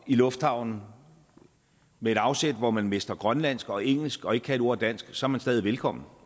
i lufthavnen med et afsæt hvor man mestrer grønlandsk og engelsk og ikke kan et ord dansk så er man stadig velkommen